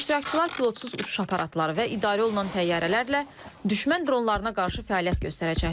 İştirakçılar pilotsuz uçuş aparatları və idarə olunan təyyarələrlə düşmən dronlarına qarşı fəaliyyət göstərəcəklər.